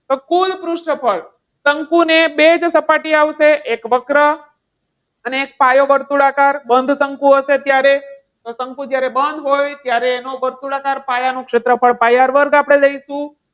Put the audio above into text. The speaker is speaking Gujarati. તો કુલ પૃષ્ઠફળ શંકુને બે સપાટી આવશે. એક વક્ર અને એક પાયો વર્તુળાકાર બંધ શંકુ હશે. તો શંકુ જ્યારે બંધ હોય તો એનો વર્તુળાકાર પાયાનું ક્ષેત્રફળ પાય આર વર્ગ આપણે લઈશું.